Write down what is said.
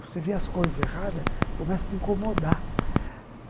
Você vê as coisas erradas, começa a te incomodar.